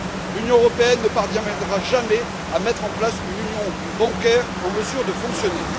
L'Union européenne ne parviendra jamais à mettre en place une union bancaire en mesure de fonctionner.